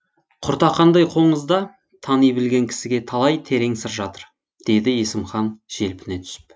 құртақандай қоңызда тани білген кісіге талай терең сыр жатыр деді есімхан желпіне түсіп